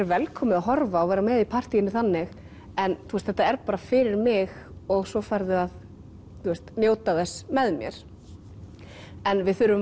velkomið að horfa og vera með í partíinu þannig en þú veist þetta er bara fyrir mig og svo færðu að njóta þess með mér en við þurfum